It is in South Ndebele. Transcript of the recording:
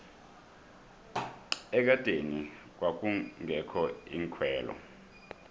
ekadeni kwakungekho iinkhwelo